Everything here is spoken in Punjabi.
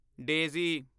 ਡੇਜ਼ੀ